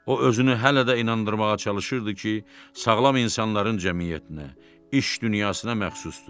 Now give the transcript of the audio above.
O özünü hələ də inandırmağa çalışırdı ki, sağlam insanların cəmiyyətinə, iş dünyasına məxsusdur.